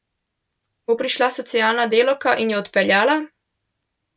Bo prišla socialna delavka in jo odpeljala?